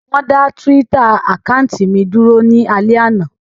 Wón dá túwítà àkáùntì mi dúró ní alẹ́ àná